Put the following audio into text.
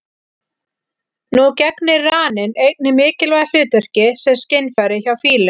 Nú gegnir raninn einnig mikilvægu hlutverki sem skynfæri hjá fílum.